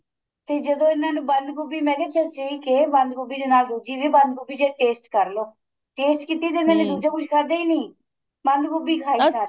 ਤੇ ਜਦੋਂ ਇੰਨਾ ਨੂੰ ਬੰਦ ਗੋਭੀ ਮੈਂ ਕਿਆ ਚਰਚੇ ਈ ਕੇ ਬੰਦ ਗੋਭੀ ਦੇ ਨਾਲ ਦੂਜੀ ਵੀ ਬੰਦ ਗੋਭੀ ਜੇ taste ਕਰ ਲੋ taste ਕੀਤੀ ਤੇ ਕੁੱਝ ਖਾਦਾ ਈ ਨਹੀਂ ਬੰਦ ਗੋਭੀ ਖਾਣਾ